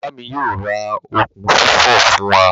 Baba mi yoo ra okun fifo fun wa.